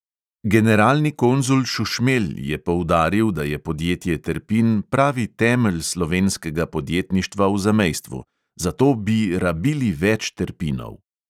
Generalni konzul šušmelj je poudaril, da je podjetje terpin pravi temelj slovenskega podjetništva v zamejstvu; zato "bi rabili več terpinov".